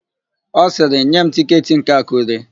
Ọ sịrị, "nye m tịketị nke Akụre"!